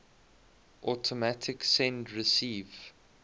automatic send receive